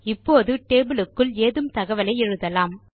இப்போது டேபிள் க்குள் ஏதும் தகவலை எழுதலாம்